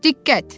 Diqqət!